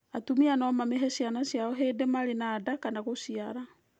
Atumia no mamĩhe ciana ciao hĩndĩ marĩ na nda kana ya gũciara.